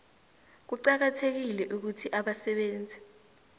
kuqakathekile ukuthi abasebenzi